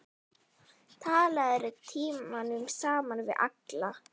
Talaðir tímunum saman við alla.